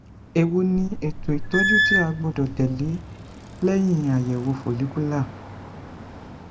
ewo ni eto itọju ti a gbọdọ tẹle lẹhin ayẹwo follicular